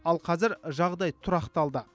ал қазір жағдай тұрақталды